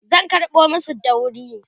zan karɓo masu dauri